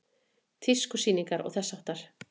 Tískusýningar og þess háttar?